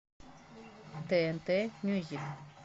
тнт мьюзик